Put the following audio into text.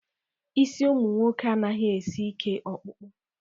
Isi ụmụ nwoke anaghị esi ike ọkpụkpụ.